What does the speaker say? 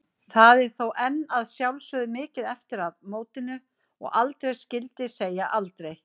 Það er þó enn að sjálfsögðu mikið eftir að mótinu og aldrei skyldi segja aldrei.